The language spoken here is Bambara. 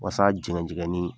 Waasa jɛgɛnjɛgɛnni